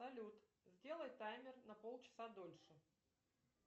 салют сделай таймер на полчаса дольше